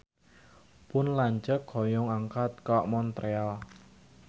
Pun lanceuk hoyong angkat ka Montreal